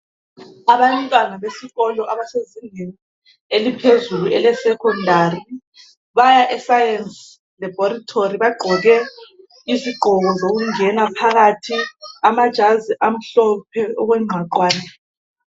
Abantwana besikolo abasezingeni eliphezulu ele"secondary " baya e"Science Laboratory " bagqoke izigqoko zokungena phakathi, amajazi amhlophe okwengqwaqwane.